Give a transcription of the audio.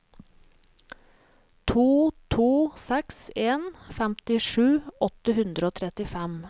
to to seks en femtisju åtte hundre og trettifem